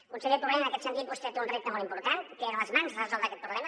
conseller torrent en aquest sentit vostè té un repte molt important té a les mans resoldre aquest problema